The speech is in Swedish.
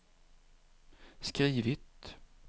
skrivit